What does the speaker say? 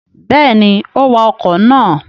Bẹ́ẹ̀ni, ó wa ọkọ̀ náà.